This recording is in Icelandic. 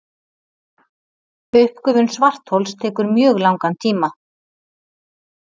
Uppgufun svarthols tekur mjög langan tíma.